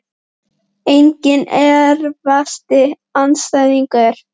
enginn Erfiðasti andstæðingur?